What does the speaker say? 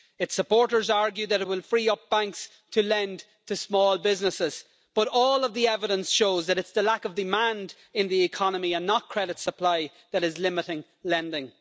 Its supporters argue that it will free up banks to lend to small businesses, but all of the evidence shows that it's the lack of demand in the economy and not credit supply that is limiting lending.